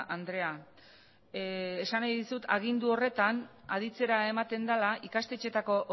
andrea esan nahi dizut agindu horretan aditzera ematen dela ikastetxeetako